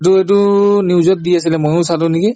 এইটো সেইটো news ত দি আছিলে ময়ো চালো নেকি